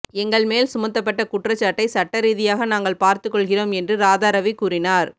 எங்கள் மேல் சுமத்தப்பட்ட குற்றச்சாட்டை சட்டரீதியாக நாங்கள் பார்த்து கொள்கிறோம் என்று ராதாரவி கூறினார்